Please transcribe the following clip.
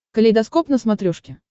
калейдоскоп на смотрешке